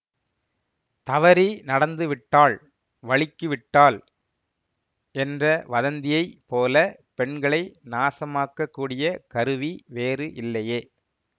தவறி நடந்து விட்டாள் வழுக்கிவிட்டால் என்ற வதந்தியைப் போல பெண்களை நாசமாக்கக்கூடிய கருவி வேறு இல்லையே